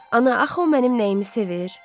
Ana, axı o mənim nəyimi sevir?